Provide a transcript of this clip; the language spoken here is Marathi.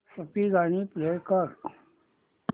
सूफी गाणी प्ले कर